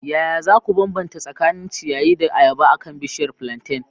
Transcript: Yaya za ku bambanta tsakanin ciyayi da ayaba akan bishiyar plantain?